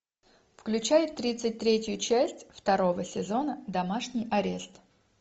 включай тридцать третью часть второго сезона домашний арест